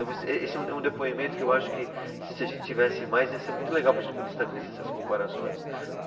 esse é um de, é um depoimento que eu acho que se a gente tivesse mais ia ser muito legal para a gente poder estabelecer essas comparações.